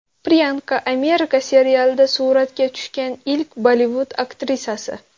Priyanka, Amerika serialida suratga tushgan ilk Bollivud aktrisasi.